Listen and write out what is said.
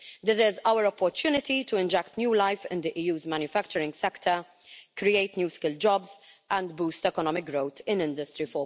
This is our opportunity to inject new life into the EU's manufacturing sector, create new skilled jobs and boost economic growth in Industry